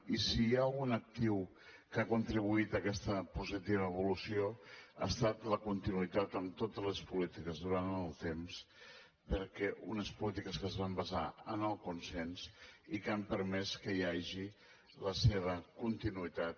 i si hi ha algun actiu que ha contribuït a aquesta positiva evolució ha estat la continuïtat en totes les polítiques durant el temps perquè unes polítiques que es van basar en el consens i que han permès que hi hagi la seva continuïtat